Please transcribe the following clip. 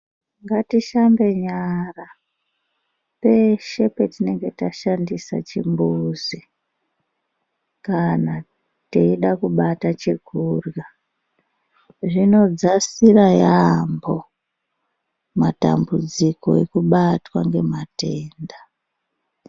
Ngatishambe nyara peshe petinenge tashandisa chimbuzi kana teida kubata chekurya zvinodzasira yamho matambudziko ekubatwa ngematenda.